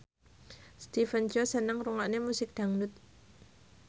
Stephen Chow seneng ngrungokne musik dangdut